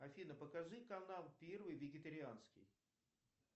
афина покажи канал первый вегетарианский